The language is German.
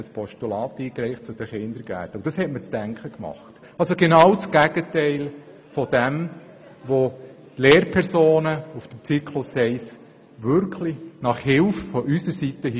Das gab mir zu denken, denn Sie handelten nach diesem Hilferuf an uns im Grossen Rat genau gegenteilig zu dem, was die Lehrpersonen für den Zyklus 1 bezweckt haben.